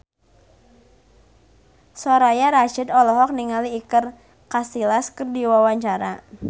Soraya Rasyid olohok ningali Iker Casillas keur diwawancara